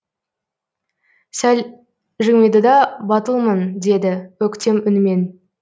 сәл жымиды да батылмын деді өктем үнмен